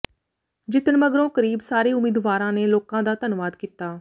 ਜਿੱਤਣ ਮਗਰੋਂ ਕਰੀਬ ਸਾਰੇ ਉਮੀਦਵਾਰਾਂ ਨੇ ਲੋਕਾਂ ਦਾ ਧੰਨਵਾਦ ਕੀਤਾ